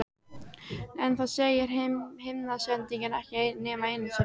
En það segir himnasendingin ekki nema einu sinni.